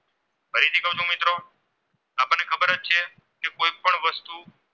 વસ્તુ